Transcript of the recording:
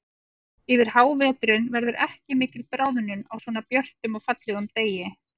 Yfir háveturinn verður ekki mikil bráðnun á svona björtum og fallegum degi.